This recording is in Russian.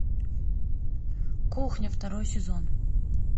кухня второй сезон